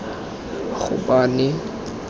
gopane